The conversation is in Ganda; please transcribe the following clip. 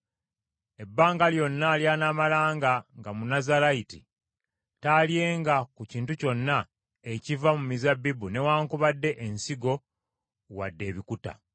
Ebbanga lyonna ly’anaamalanga nga Munnazaalayiti taalyenga ku kintu kyonna ekiva mu mizabbibu newaakubadde ensigo wadde ebikuta.